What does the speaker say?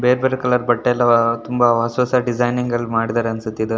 ಬೇರೆ ಬೇರೆ ಕಲರ್ ಬಟ್ಟೆ ಎಲ್ಲ ಹೊಸ ಹೊಸ ಡಿಸೈನಿಂಗ್ ಲ್ಲಿ ಮಾಡಿದ್ದಾರೆ ಅನ್ಸುತ್ತೆ ಇದು.